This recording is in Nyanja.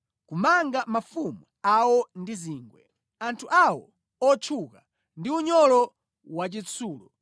kumanga mafumu awo ndi zingwe, anthu awo otchuka ndi unyolo wachitsulo,